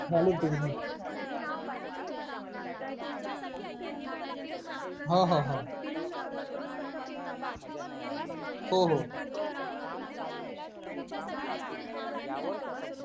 झालीना तुझी निवड माझी निवड झाली कारण माझ्या कडचे टायपिंग वगैरे झालेली होती ना होहो टायपिंग वगैरे होती ना मराठी आणि इंग्लिश ची कि दोनी होहो त्याचा मुले मग त्यानी प्रश्न वगैरे एवढे नाय विचारले